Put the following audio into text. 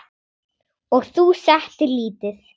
Og þú settir lítið?